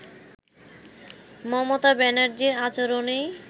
মমতা ব্যানার্জীর আচরনেই